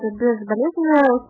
производитель